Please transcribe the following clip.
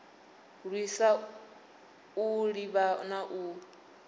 lwisa u ḓivha na u